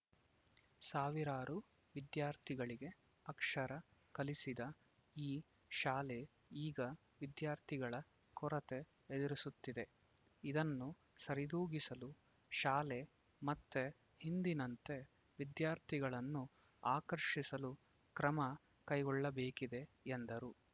ಸಾವಿರಾರು ವಿದ್ಯಾರ್ಥಿಗಳಿಗೆ ಅಕ್ಷರ ಕಲಿಸಿದ ಈ ಶಾಲೆ ಈಗ ವಿದ್ಯಾರ್ಥಿಗಳ ಕೊರತೆ ಎದುರಿಸುತ್ತಿದೆ ಇದನ್ನು ಸರಿದೂಗಿಸಲು ಶಾಲೆ ಮತ್ತೆ ಹಿಂದಿನಂತೆ ವಿದ್ಯಾರ್ಥಿಗಳನ್ನು ಆಕರ್ಷಿಸಲು ಕ್ರಮ ಕೈಗೊಳ್ಳಬೇಕಿದೆ ಎಂದರು